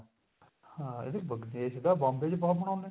ਹਾਂ ਇਹ ਵੀ ਦੇਸ਼ ਦਾ Bombay ਚ ਬਹੁਤ ਮਨਾਉਂਦੇ